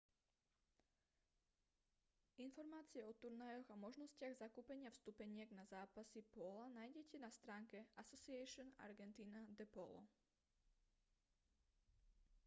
informácie o turnajoch a možnostiach zakúpenia vstupeniek na zápasy póla nájdete na stránke asociacion argentina de polo